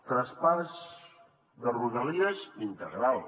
traspàs de rodalies integral